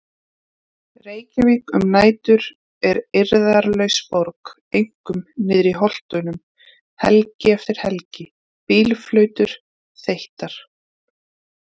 Reykjavík um nætur er eirðarlaus borg, einkum niðri í Holtunum- helgi eftir helgi: Bílflautur þeyttar.